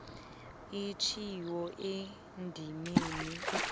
atjhiwo endimeni b